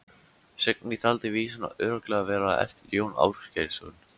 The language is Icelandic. Signý taldi vísuna örugglega vera eftir Jón Ásgeirsson.